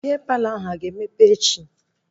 Bịa Palọ ahụ a ga-emepe echi?